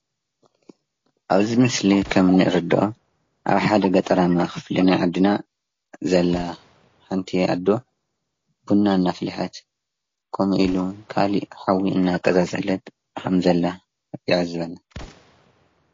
ኣብዚ ምስሊ ከም እንርደኦ ኣብ ሓደ ገጠራማ ክፍሊ ናይ ዓድና ዘላ ሓንቲ ኣዶ ቡና እና ኣፈለሐት ከም ኢሊ እውን ካሊእ ሓዊ እናቀፃፀለት ከም ዘላ ንዕዘብ።